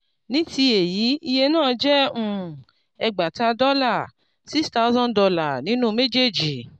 ní ti èyí iye náà jẹ́ um ẹgbàáta dọ́là six thousand dollar nínú méjèèjì.